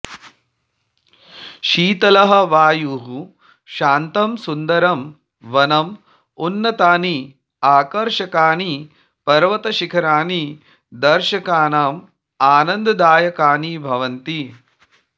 शीतलः वायुः शान्तं सुन्दरं वनम् उन्नतानि आकर्षकाणि पर्वतशिखराणि दर्शकानाम् आनन्ददायकानि भवन्ति